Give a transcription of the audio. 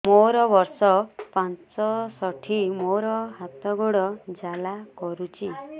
ମୋର ବର୍ଷ ପଞ୍ଚଷଠି ମୋର ହାତ ଗୋଡ଼ ଜାଲା କରୁଛି